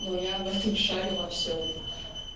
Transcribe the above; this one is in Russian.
но я в этом шарю во всём